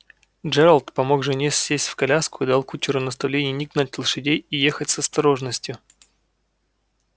джералд помог жене сесть в коляску и дал кучеру наставление не гнать лошадей и ехать с осторожностью